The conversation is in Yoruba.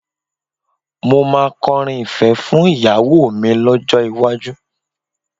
Mo máa kọrin ìfẹ́ fún ìyàwó mi lọ́jọ́ iwájú